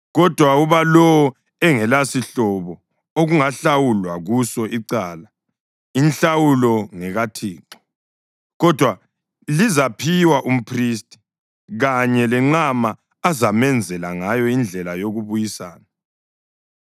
Kodwa uba lowo engelasihlobo okungahlawulwa kuso icala, inhlawulo ngekaThixo, kodwa lizaphiwa umphristi, kanye lenqama azamenzela ngayo indlela yokubuyisana.